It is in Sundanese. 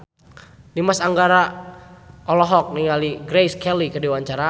Dimas Anggara olohok ningali Grace Kelly keur diwawancara